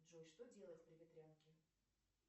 джой что делать при ветрянке